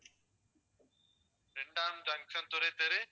இரண்டாம் junction துரைத்தெரு